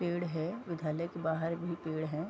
पेड़ है विद्यालय के बाहर भी पेड़ है ।